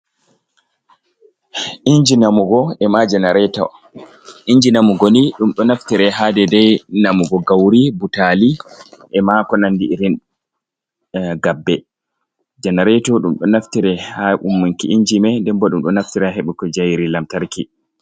Inji namugo e ma janareto. Inji namugo ni ɗum ɗo naftire ha dedai namugo gauri, butali e ma ko nandi irin gabbe. Janareto ɗum ɗo naftire ha ummunki inji mei, nden bo ɗum ɗo naftira ha heɓugo njayri lamtarki.